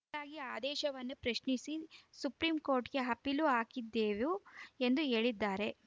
ಹೀಗಾಗಿ ಆದೇಶವನ್ನು ಪ್ರಶ್ನಿಸಿ ಸುಪ್ರೀಂಕೋರ್ಟ್‌ಗೆ ಅಪೀಲು ಹಾಕಿದ್ದೆವು ಎಂದು ಹೇಳಿದ್ದಾರೆ